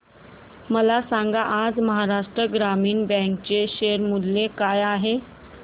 मला सांगा आज महाराष्ट्र ग्रामीण बँक चे शेअर मूल्य काय आहे